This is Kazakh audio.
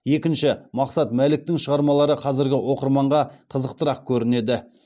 екінші мақсат мәліктің шығармалары қазіргі оқырманға қызықтырақ көрінеді